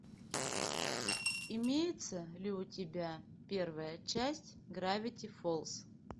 имеется ли у тебя первая часть гравити фолз